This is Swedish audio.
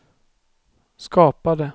skapade